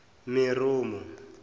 meromo